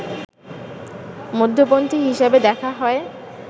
মধ্যপন্থী হিসাবে দেখা হয়